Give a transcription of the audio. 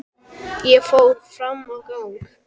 Ég fór fram á gang.